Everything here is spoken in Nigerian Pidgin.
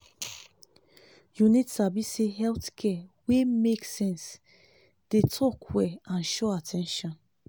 you need sabi say health care wey make sense dey talk well and show at ten tion.